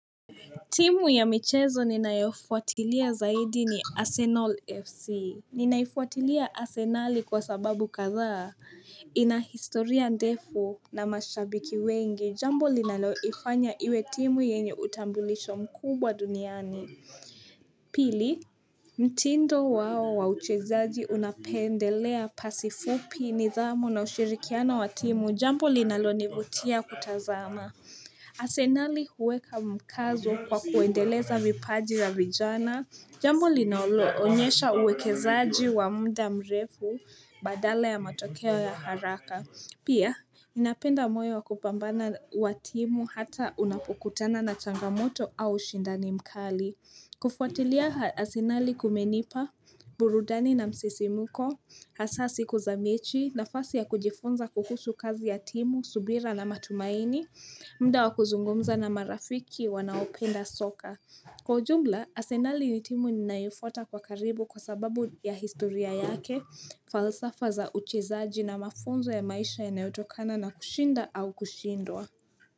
Timu ya michezo ninaifuatilia zaidi ni Arsenal FC Ninaifuatilia Arsenal kwa sababu kadha ina historia ndefu na mashabiki wengi jambo linaloifanya iwe timu yenye utambulisho mkubwa duniani Pili mtindo wao wa uchezaji unapendelea pasi fupi nidhamu na ushirikiano wa timu jambo linalo nivutia kutazama Arsenali huweka mkazo kwa kuendeleza vipaji ya vijana Jambo linaloonyesha uwekezaji wa muda mrefu badala ya matokeo ya haraka Pia, ninapenda moyo wakupambana wa timu hata unapokutana na changamoto au shindani mkali kufuatilia arsenali kumenipa, burudani na msisimko, hasa siku za mechi nafasi ya kujifunza kuhusu kazi ya timu, subira na matumaini, muda wakuzungumza na marafiki wanaopenda soka. Kwa ujumla, arsenali ni timu ninayoifuata kwa karibu kwa sababu ya historia yake, falsafa za uchezaji na mafunzo ya maisha yanayotokana na kushinda au kushindwa.